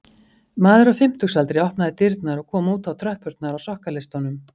Maður á fimmtugsaldri opnaði dyrnar og kom út á tröppurnar á sokkaleistunum